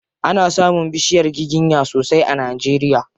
Ana samun bishiyar giginya sosai a Najeria.